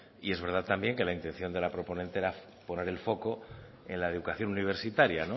y es verdad también que la intención de la proponente era poner el foco en la educación universitaria